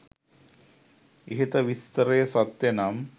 ඉහත විස්තරය සත්‍යනම්